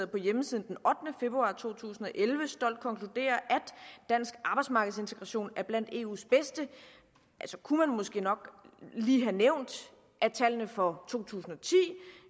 på hjemmesiden den ottende februar to tusind og elleve stolt konkluderer at dansk arbejdsmarkedsintegration er blandt eus bedste så kunne man måske nok lige have nævnt at tallene for to tusind